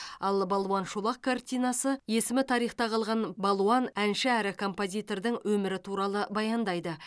ал балуан шолақ картинасы есімі тарихта қалған балуан әнші әрі композитордың өмірі туралы баяндайды